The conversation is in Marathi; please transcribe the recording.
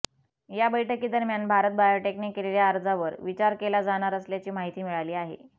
या बैठकीदरम्यान भारत बायोटेकने केलेल्या अर्जावर विचार केला जाणार असल्याची माहिती मिळाली आहे